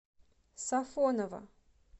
сафоново